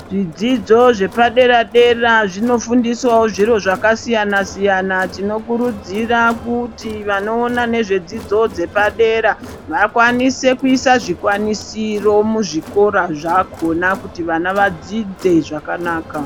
Zvidzidzo zvepadera-dera zvinofundiswavo zviro zvakasiyana-siyana. Tinokuridzira kuti vanoona nezvedzidzo dzepadera vakwanise kuise zvikwanisiro muzvikora zvakona kuti vana vadzidze zvakanaka.